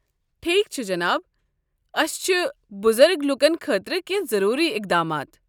ٹھیک چھ جناب۔ اسہ چھ بُزرگ لوٗکن خٲطرٕ کیٚنٛہہ ضٔروٗری اقدامات ۔